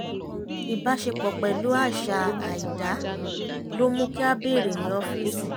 ìbáṣepọ̀ pẹ̀lú àṣà àìdá ló mú kí a bèèrè ní ọ́fíìsì